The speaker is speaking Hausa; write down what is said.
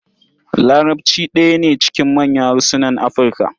Larabci ɗaya ne cikin manyan harsunan Afirka.